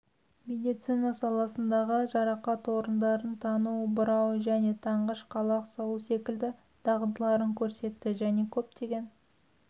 медицина саласындағы жарақат орындарын тану бұрау және танғыш қалақ салу секілді дағдыларын көрсетті және көптеген